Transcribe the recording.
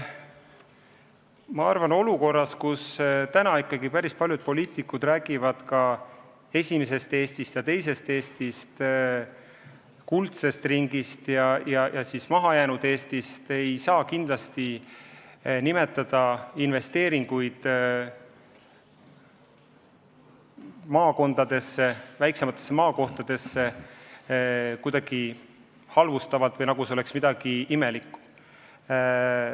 Ma arvan, et olukorras, kus päris paljud poliitikud räägivad esimesest Eestist ja teisest Eestist, kuldsest ringist ja mahajäänud Eestist, ei saa investeeringuid maakondadesse, väiksematesse maakohtadesse kuidagi halvustada, nagu see oleks midagi imelikku.